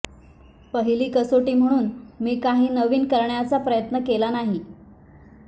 पहिली कसोटी म्हणून मी काही नवीन करण्याचा प्रयत्न केला नाही